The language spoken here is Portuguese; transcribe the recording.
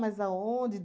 aonde?